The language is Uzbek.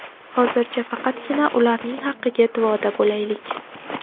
Hozircha faqatgina ularning haqqiga duoda bo‘laylik”.